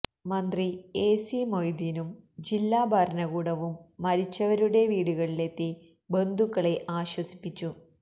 മന്ത്രി എസി മൊയ്ദീനും ജില്ലാ ഭരണകൂടവും മരിച്ചവരുടെ വീടുകളിലെത്തി ബന്ധുക്കളെ ആശ്വസിപ്പിച്ചു